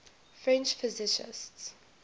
french physicists